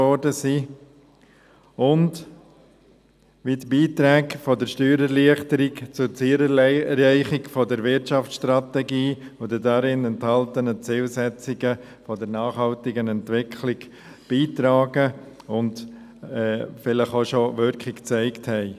Und wie tragen die Beiträge der Steuererleichterung zur Zielerreichung der Wirtschaftsstrategie und den darin enthaltenen Zielsetzungen der nachhaltigen Entwicklung bei und haben vielleicht auch schon Wirkung gezeigt?